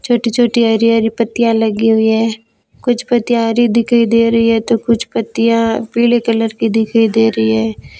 छोटी छोटी हरी हरी पत्तियां लगी हुई हैं कुछ पत्तियां हरी दिखाई दे रही हैं तो कुछ पत्तियां पीले कलर की दिखाई दे रही हैं।